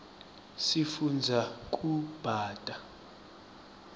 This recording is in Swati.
sifundza kubata